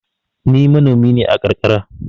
Ni manomi ne a karkara.